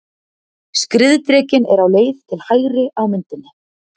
Skriðdrekinn er á leið til hægri á myndinni.